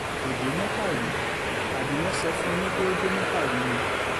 kò dé mẹ́kà rí àbí wọ́n sọ fún yín pé ó dé mẹ́kà rí ni